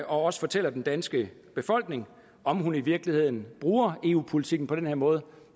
også fortæller den danske befolkning om hun i virkeligheden bruger eu politikken på den her måde